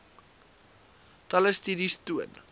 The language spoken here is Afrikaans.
talle studies toon